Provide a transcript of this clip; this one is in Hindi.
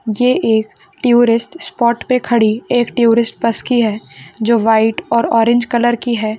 ये एक टुरिस्ट स्पोट पे खड़ी एक टुरिस्ट बस की है जो व्हाइट और ऑरेंज कलर की है।